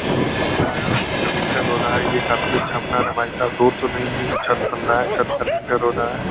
ये रोड बन रहा है और इसका लिंटर रोड है ये काफी अच्छा बना रहे है भाई साहब रोड तो नही है ये छत बन रहा है छत का लिंटर हो रहा है।